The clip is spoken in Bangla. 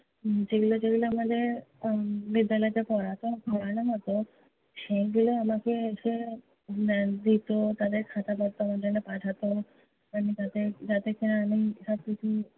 উম যেগুলো যেগুলো আমাদের আহ বিদ্যালয়তে পড়াতো, পড়ানো হতো, সেইগুলো আমাকে এসে দিতো, তাদের খাতাপত্র আমার জন্য পাঠাত, যাতে যাতে কি-না আমি সবকিছু